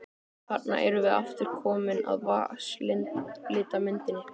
Þarna erum við aftur komin að vatnslitamyndinni.